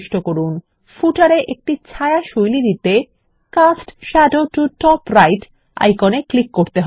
উদাহরণস্বরূপ পাদলেখ তে একটি ছায়া শৈলী দিতে cast shadow to top right icon এ ক্লিক করতে হবে